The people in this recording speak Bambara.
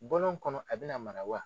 Bɔlɔn kɔnɔ a bena mara wa?